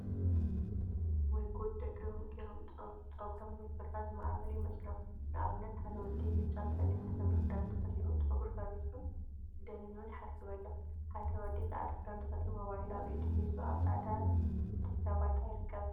ወይ ጉድ! ደቂ ሎሚ ፀጉሮም ብምፍራዝ ዝማዕበሉ ይመስሎም፡፡ ንአብነት ሓደ ወዲ ብጫን ፀሊምን ሕብሪ ክዳን ተከዲኑ ፀጉሩ ፈሪዙን ደኒኑ ይሓስብ አሎ፡፡ ሓደ ወዲ ፃዕዳ ክዳን ተከዲኑ ሞባይል አብ ኢዱ ሒዙ አብ ፃዕዳ ድሕረ ባይታ ይርከብ፡፡